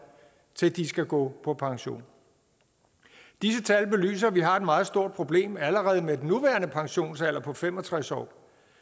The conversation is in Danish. til de skal gå på pension disse tal belyser at vi har et meget stort problem allerede med den nuværende pensionsalder på fem og tres år